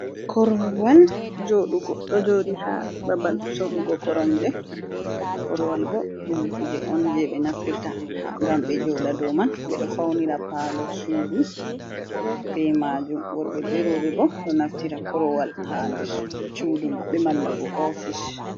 Korowal ɗo joɗi ha babal sorugo koromje. Korowal bo ɗum kuje on jei ɓe naftirta gam ɓe joɗa dou man, ɓe ɗo faunira paalo sudu be majum worɓe be roɓe bo ɗo naftira korowal haa der cudu maɓɓe malla bo ofis.